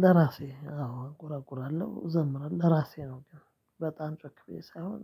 ለራሴ አዎ እቆረቁራለሁ እዘምራለሁ ለራሴ ነው። በጣም ጨክቤ ሳይሆን